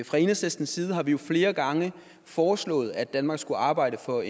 fra enhedslistens side har vi flere gange foreslået at danmark skulle arbejde for